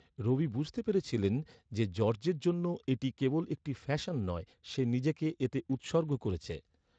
রবি বুঝতে পেরেছিলেন যে, জর্জের জন্য এটি কেবল একটি ফ্যাশন নয়, সে নিজেকে এতে উৎসর্গ করেছে।